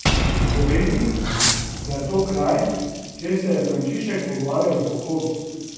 Pove mi, da je to kraj, kjer se je Frančišek pogovarjal z volkovi.